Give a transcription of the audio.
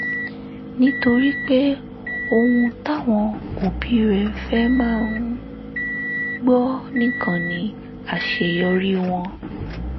nítorí pé ohun táwọn òbí rẹ̀ fẹ́ máa um gbọ́ nìkan ni àṣeyọrí wọn